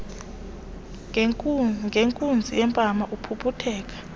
ngenkunzi yempama aphuphutheke